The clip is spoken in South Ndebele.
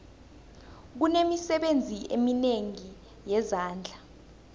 kunemisebenzi eminengi yezandla